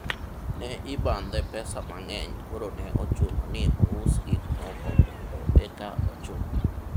ne ibandhe pesa mang'eny koro ne ochuno ni ous gikmoko mondo eka ochul